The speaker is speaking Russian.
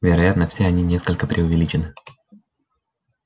вероятно все они несколько преувеличены